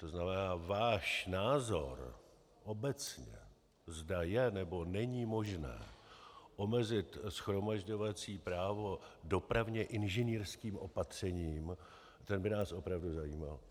To znamená, váš názor obecně, zda je, nebo není možné omezit shromažďovací právo dopravně inženýrským opatřením, ten by nás opravdu zajímal.